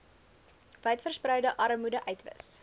wydverspreide armoede uitwis